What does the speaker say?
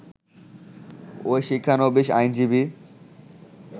ওই শিক্ষানবীশ আইনজীবী